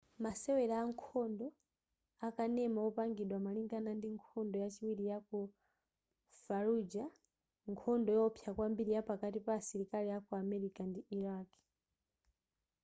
masewera ankhondo akanema opangidwa malingana ndi nkhondo yachiwiri yaku fallujar nkhondo yowopsa kwambiri yapakati pa asilikali aku america ndi iraq